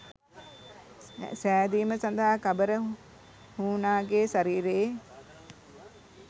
සෑදීම සදහා කබර හූනාගේ ශරීරයේ